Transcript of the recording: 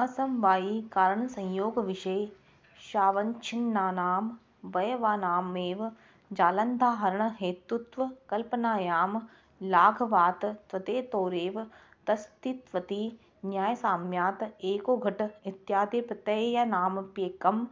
असमवायिकारणसंयोगविशेषावच्छिन्नानामवयवानामेव जलाद्याहरणहेतुत्वकल्पनायां लाघवात् तद्धेतोरेव तदस्त्विति न्यायसाम्यात् एको घट इत्यादिप्रत्ययानामप्येकं